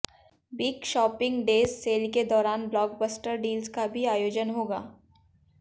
big shopping days sale के दौरान blockbuster deals का भी आयोजन होगा